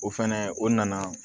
O fɛnɛ o nana